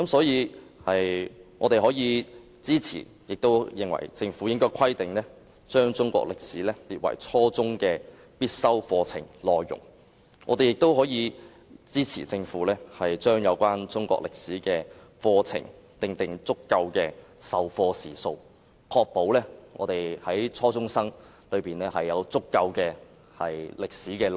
因此，我們支持政府將中國歷史科列為初中必修科，以及就中史課程訂定足夠的授課時數，以確保初中生能充分接收清晰的內容。